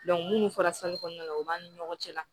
munnu fɔra kɔnɔna na u b'an ni ɲɔgɔn cɛ la